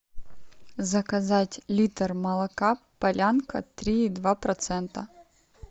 заказать литр молока полянка три и два процента